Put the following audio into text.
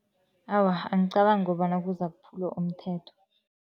Awa, angicabangi ukobana kuzakuphula umthetho.